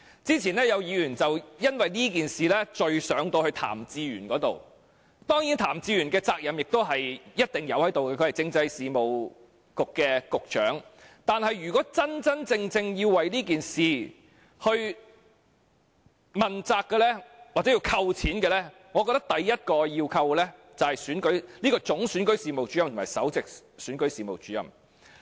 之前有議員就此事件向譚志源問責，當然譚志源作為政制及內地事務局局長，亦須負上一定責任，但若真正要為此事問責，或因此事削減薪酬，我認為首要應削減總選舉事務主任及首席選舉事務主任的薪酬。